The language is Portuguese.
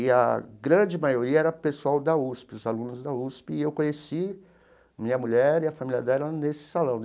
E a grande maioria era pessoal da USP, os alunos da USP, e eu conheci minha mulher e a família dela nesse salão.